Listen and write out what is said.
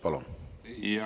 Palun!